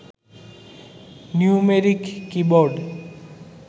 numeric keyboard